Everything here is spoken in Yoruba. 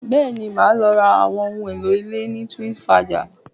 Bẹ́ẹ̀ni, mo máa lọ ra àwọn ohun èlò ilé ní Twinsfaja